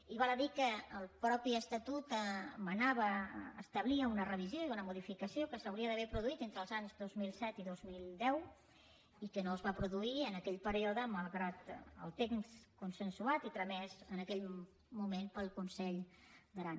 i val a dir que el mateix estatut manava establia una revisió i una modificació que s’haurien d’haver produït entre els anys dos mil set i dos mil deu i que no es van produir en aquell període malgrat el text consensuat i tramès en aquell moment pel consell d’aran